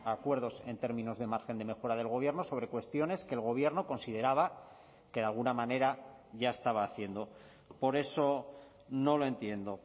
acuerdos en términos de margen de mejora del gobierno sobre cuestiones que el gobierno consideraba que de alguna manera ya estaba haciendo por eso no lo entiendo